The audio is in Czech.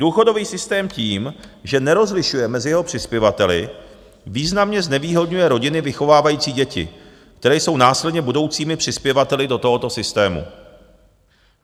Důchodový systém tím, že nerozlišuje mezi jeho přispěvateli, významně znevýhodňuje rodiny vychovávající děti, které jsou následně budoucími přispěvateli do tohoto systému.